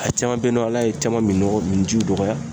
A caman be yen nɔ ,ala ye caman mi nɔgɔ mini jiw dɔgɔya.